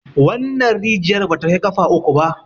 wannan rijiyar ba ta Kai kafa uku ba